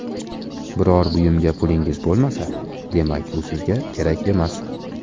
Biror buyumga pulingiz bo‘lmasa, demak u sizga kerak emas.